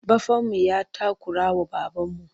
Baffanmu ya takurawa babarmu.